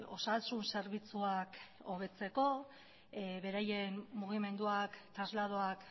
osasun zerbitzuak hobetzeko beraien mugimenduak trasladoak